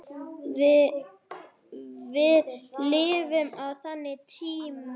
Við lifum á þannig tímum.